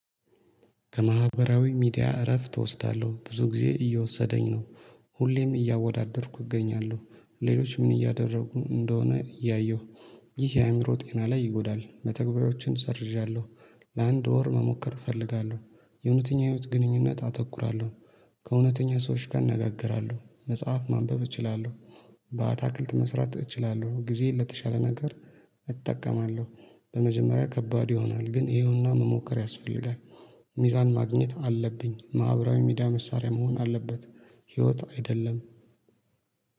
ከማህበራዊ ሚዲያ እረፍት እወስዳለሁ: ብዙ ጊዜ እየወሰደኝ ነው። ሁሌም እያወዳደርኩ እገኛለሁ። ሌሎች ምን እያደረጉ እንደሆነ እያየሁ ይህ የአእምሮ ጤና ላይ ይጎዳል። መተግበያዎችን ሰርዣለሁ። ለአንድ ወር መሞከር እፈልጋለሁ። የእውነተኛ ህይወት ግንኙነት አተኩራለሁ። ከእውነተኛ ሰዎች ጋር እናጋገራለሁ። መጽሐፍ ማንበብ እችላለሁ። በአትክልት መስራት እችላለሁ። ጊዜዬን ለተሻለ ነገር እጠቀማለሁ። በመጀመሪያ ከባድ ይሆናል። ግን ይሄውና መሞከር ያስፈልጋል። ሚዛን ማግኘት አለብኝ። ማህበራዊ ሚዲያ መሳሪያ መሆን አለበት። ህይወት አይደለም።